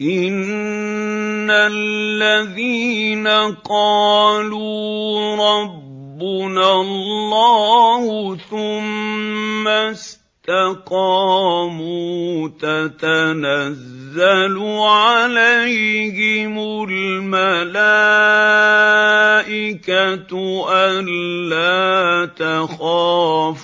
إِنَّ الَّذِينَ قَالُوا رَبُّنَا اللَّهُ ثُمَّ اسْتَقَامُوا تَتَنَزَّلُ عَلَيْهِمُ الْمَلَائِكَةُ أَلَّا تَخَافُوا